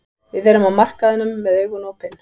Við erum á markaðinum með augun opin.